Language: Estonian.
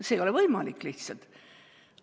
See ei ole lihtsalt võimalik.